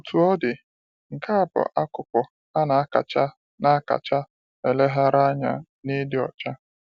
Otú ọ dị, nke a bụ akụkụ a na-akacha na-akacha eleghara anya n'ịdị ọcha.